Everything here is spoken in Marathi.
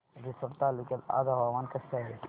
रिसोड तालुक्यात आज हवामान कसे आहे